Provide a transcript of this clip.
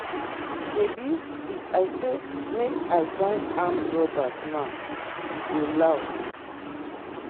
shebi if i say make i join armed robbers now e go loud.